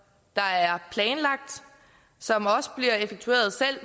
der er planlagt som også bliver effektueret selv